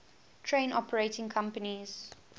train operating companies